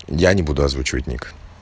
я не буду озвучивать ник